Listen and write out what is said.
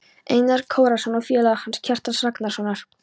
Einars Kárasonar, og félaga hans, Kjartans Ragnarssonar.